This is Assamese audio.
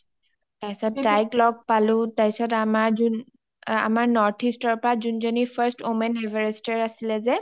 তাৰপিছত তাইক লগ পালো, তাৰপিছত আমাৰ যোন, আমাৰ northeast ৰ পা যোনযনি first women everestৰ আছিলে যে